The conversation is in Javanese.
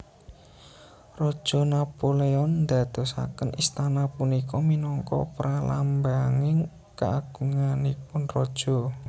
Raja Napoleon ndadosaken istana punika minangka pralambanging kaagunganipun raja